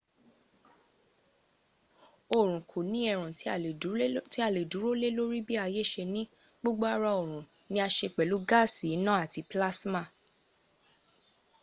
oorun ko ni erun ti a le duro le lori bi aye se ni gbogbo ara orun ni a se pelu gaasi ina ati pilasima